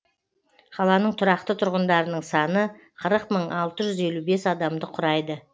қаланың тұрақты тұрғындарының саны қырық мың алты жүз елу бес адамды құрайды